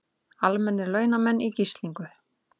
Almennir launamenn í gíslingu